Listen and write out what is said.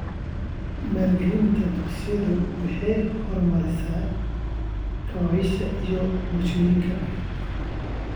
Maalgelinta dugsiyadu waxay horumarisaa kaabayaasha iyo bulshooyinka .